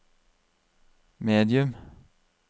medium